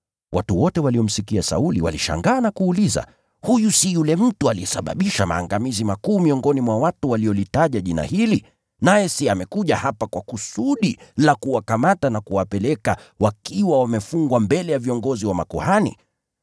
Watu wote waliomsikia Sauli walishangaa na kuuliza, “Huyu si yule mtu aliyesababisha maangamizi makuu huko Yerusalemu miongoni mwa watu waliolitaja jina hili? Naye si amekuja hapa kwa kusudi la kuwakamata na kuwapeleka wakiwa wafungwa mbele ya viongozi wa makuhani?”